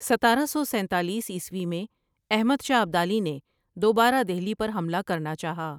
ستارہ سو سینتالیس عیسوی میں احمد شاہ ابدالی نے دوبارہ دہلی پر حملہ کرنا چاہا ۔